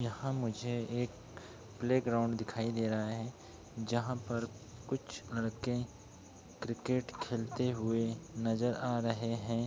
यहाँ मुझे एक प्ले ग्राउंड दिखाई दे रहा हैं। जहाँ पर कुछ लड़के क्रिकेट खेलते हुए नजर आ रहे हैं।